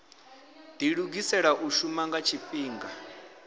dilugisela u shuma nga tshifhinga